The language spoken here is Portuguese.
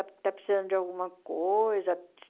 Está precisando de alguma coisa?